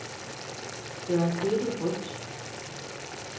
Gør dette rødt.